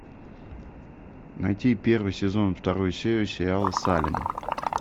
найти первый сезон вторую серию сериала салем